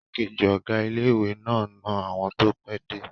Igbákejì ọ̀gá ilé-ìwé náà n na àwọn tó pẹ́ dé